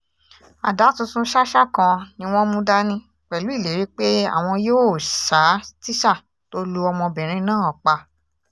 ada tuntun ṣàṣà kan ni wọ́n mú dání pẹ̀lú ìlérí pé àwọn yóò ṣa tíṣà tó lu ọmọbìnrin náà pa